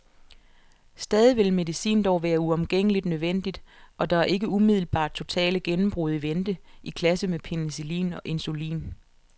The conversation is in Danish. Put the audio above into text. Stadig vil medicin dog være uomgængeligt nødvendigt, og der er ikke umiddelbart totale gennembrud i vente, i klasse med penicillin og insulin.